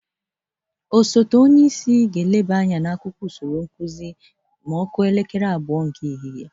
Osote onyeisi ga-eleta akwụkwọ usoro nkụzị n'elekere abụọ nke ehihe.